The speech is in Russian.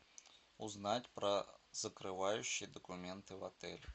узнать про закрывающие документы в отеле